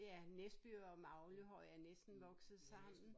Ja Næsby og Maglehøj er næsten vokset sammen